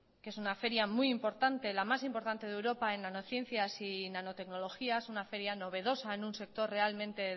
que es una feria muy importante la más importante de europa en nanociencias y nanotecnología es una feria novedosa en un sector realmente